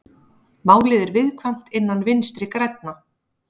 Málið er viðkvæmt innan Vinstri grænna